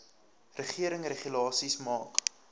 regering regulasies maak